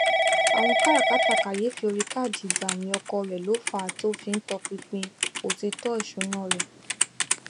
àwọn káràkátà kàyééfì orí káàdì ìgbàwìn ọkọ rẹ ló fà á tí ó fi tọpinpin òtítọ ìṣúná rẹ